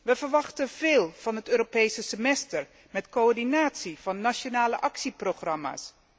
We verwachten veel van het Europese semester met coördinatie van nationale actieprogramma's.